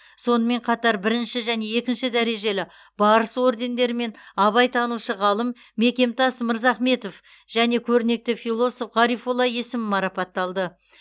сонымен қатар бірінші және екінші дәрежелі барыс ордендерімен абайтанушы ғалым мекемтас мырзахметов және көрнекті философ ғарифолла есім марапатталды